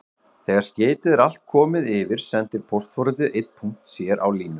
Þegar skeytið er allt komið yfir sendir póstforritið einn punkt sér á línu.